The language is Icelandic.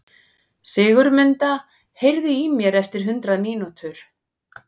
Sigurmunda, heyrðu í mér eftir hundrað mínútur.